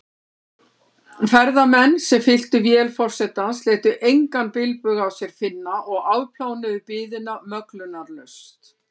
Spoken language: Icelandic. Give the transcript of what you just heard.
Ferðamenn, sem fylltu vél forsetans, létu engan bilbug á sér finna og afplánuðu biðina möglunarlaust.